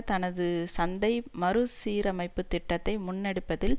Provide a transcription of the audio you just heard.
தனது சந்தை மறு சீரமைப்பு திட்டத்தை முன்னெடுப்பதில்